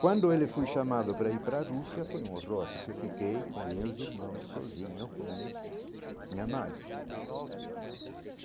Quando ele foi chamado para ir para a Rússia foi um horror, porque fiquei com o meus irmãos sozinho, com minha mãe.